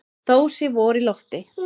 Þó sé vor í lofti.